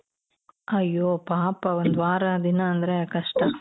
ಅಯ್ಯೋ ಪಾಪ ಒಂದ್ ವಾರ ದಿನ ಅಂದ್ರೆ ಕಷ್ಟ